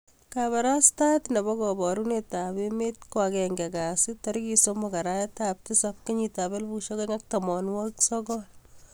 Kabarastaet nebo kabarunet ab emet ko agenge kasi 03/7/2019